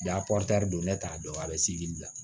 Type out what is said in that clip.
ne t'a dɔn a bɛ sigi gibi la